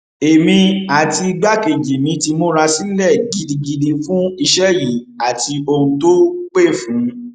èmi àti igbákejì mi ti múra sílẹ gidigidi fún iṣẹ yìí àti ohun tó pẹ fún